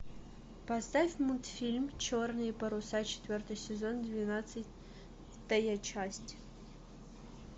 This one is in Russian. поставь мультфильм черные паруса четвертый сезон двенадцатая часть